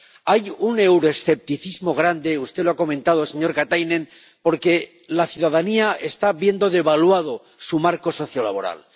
Hay un euroescepticismo grande —usted lo ha comentado, señor Katainen— porque la ciudadanía está viendo devaluado su marco sociolaboral.